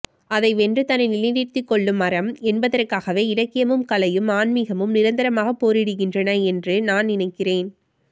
அதை வென்று தன்னை நிலைநிறுத்திக்கொள்ளும் அறம் என்பதற்காகவே இலக்கியமும் கலையும் ஆன்மீகமும் நிரந்தரமாகப் போரிடுகின்றன என்று நான் நினைக்கிறேன்